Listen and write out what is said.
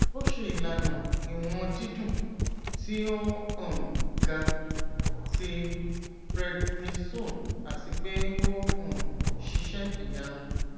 o ṣe ilana iwọn didun ti o um ga ti prednisone ati pe o um ṣiṣẹ iyanu